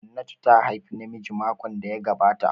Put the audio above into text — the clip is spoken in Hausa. Hannatu ta haifi namiji makon da ya gabata